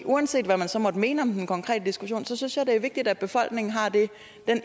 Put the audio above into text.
uanset hvad man så måtte mene om den konkrete diskussion synes jeg det er vigtigt at befolkningen har den